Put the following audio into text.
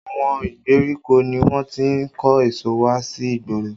Àwọn ìgbèríko ni wọ́n ti ń kó èso wá sí igboro